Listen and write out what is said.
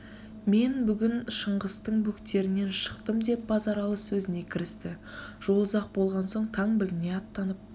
мен бүгін шыңғыстың бөктерінен шықтым деп базаралы сөзіне кірісті жол ұзақ болған соң таң біліне аттанып